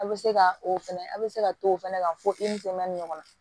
A' bɛ se ka o fɛnɛ a' bɛ se ka to o fana kan fo i ni jɛman nin ɲɔgɔn na